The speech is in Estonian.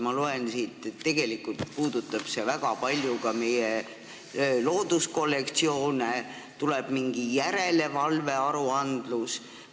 Ma loen siit, et tegelikult puudutab see väga palju ka meie looduskollektsioone, tuleb mingi järelevalve aruandlus.